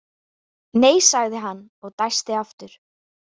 Nei, sagði hann og dæsti aftur.